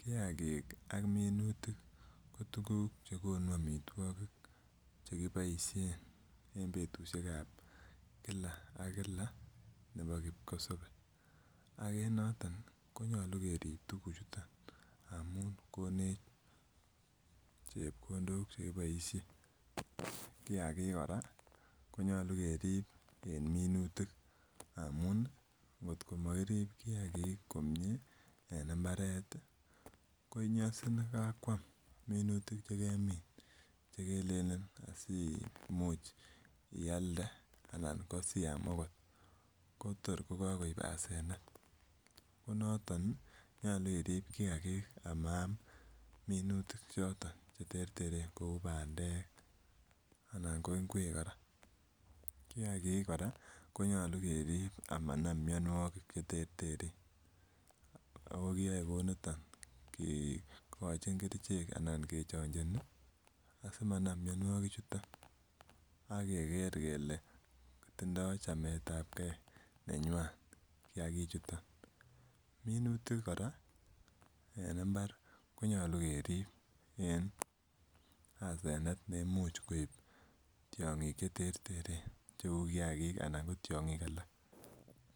Kiagik ak minutik ko tuguk chekiboisien en Kila ak kia. Ak en noto koyoche kerib tuguk chuton ndamuun konech chebkondok chekiboisien en Kila ak kila, kiagik kora koyoche kerib en minutik amuun ngot komakirib kiagik komie ih konyasin kakoam minutik chekelene asimuch ialde anan ko siam akot ko tor kokikoib asenet ko noton ih nyolu iribe kiagik cheterteren kou bandek, anan ko inguek kora . Kiagik konyalu kerib amonam mianuogik cheterteren akikiyoekoiniton kikochin kerichek anan kechachani asimanam mianuogik chuton akeker kele tindoo chametabke nenyuan kiagik chuton. Minutik kora koyoche kerib simoib asenet en tiong'ik cheterteren cheuu kiagik anan ko tiong'ik alak.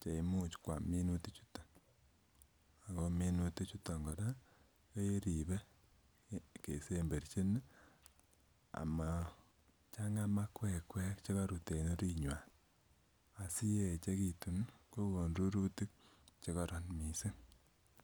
Cheimuch kiam minutik chuton, Ako minutik chuton keribe amachang'aa makuekue en orinywan asiyaechekitun kokonu rurutuk chekororon missing.